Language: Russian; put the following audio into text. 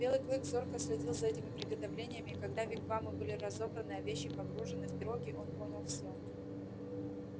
белый клык зорко следил за этими приготовлениями и когда вигвамы были разобраны а вещи погружены в пироги он понял все